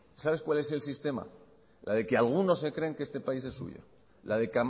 sabes cuál es el sistema la de que algunos se creen que este país es suyo la de